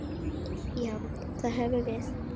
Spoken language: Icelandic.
Já, það höfum við.